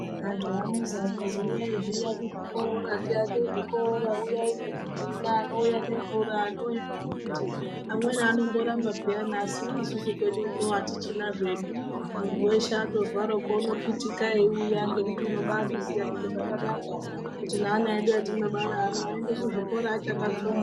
Anthu anozi akazi uyai zviya kuzvikora tiake zvikora uyai nezvidhina, anouya nemvura ,anouya nembiti ,amweni anoramba peya asi uno kwedu uno atichina zvedu, munthu weshe atozwaro unokwitika eiuya ngekuti unobazviziya kuti zvakanaka ,kuti ne ana edu atinobara aya aende kuzvikora achakatsonga.